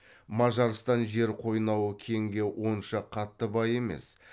мажарстан жер қойнауы кенге онша қатты бай емес